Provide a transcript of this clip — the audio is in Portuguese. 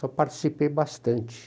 Só participei bastante.